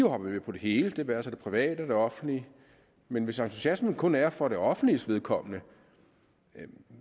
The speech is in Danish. hoppet med på det hele det være sig det private og det offentlige men hvis entusiasmen kun er for det offentliges vedkommende